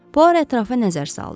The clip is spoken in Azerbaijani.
Puaro ətrafa nəzər saldı.